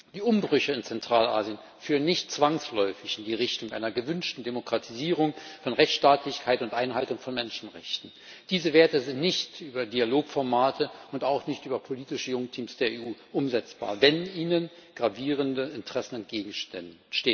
Die Umbrüche in Zentralasien führen nicht zwangsläufig in die Richtung einer gewünschten Demokratisierung, von Rechtsstaatlichkeit und Einhaltung von Menschenrechten. Diese Werte sind nicht über Dialogformate und auch nicht über politische Junktims der EU umsetzbar, wenn ihnen gravierende Interessen entgegenstehen.